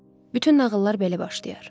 Bütün nağıllar belə başlayar.